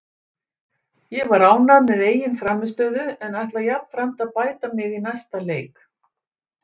Ég var ánægð með eigin frammistöðu en ætla jafnframt að bæta mig í næsta leik.